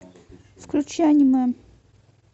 включи аниме